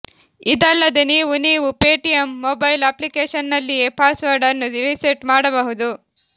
ಇದಲ್ಲದೆ ನೀವು ನೀವು ಪೇಟಿಎಂ ಮೊಬೈಲ್ ಅಪ್ಲಿಕೇಶನ್ನಲ್ಲಿಯೇ ಪಾಸ್ವರ್ಡ್ ಅನ್ನು ರಿಸೆಟ್ ಮಾಡಬಹುದು